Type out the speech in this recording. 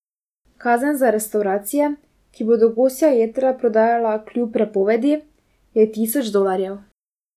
Kazen za restavracije, ki bodo gosja jetra prodajala kljub prepovedi, je tisoč dolarjev.